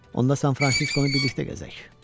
Onda San Fransiskonu birlikdə gəzək.